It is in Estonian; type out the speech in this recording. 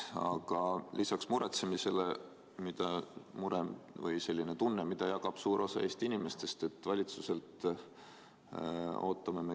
Aga lisaks murele on mul ootus, mida jagab suur osa Eesti inimestest.